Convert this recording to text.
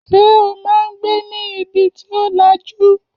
Ṣé o máa ń gbé ní ibi tí ò lajú?